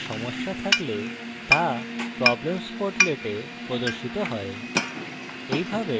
আমাদের code সমস্যা থাকলে তা problems portlet এ প্রদর্শিত had